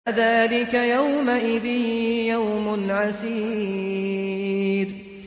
فَذَٰلِكَ يَوْمَئِذٍ يَوْمٌ عَسِيرٌ